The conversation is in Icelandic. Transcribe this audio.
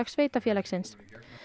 sveitarfélagsins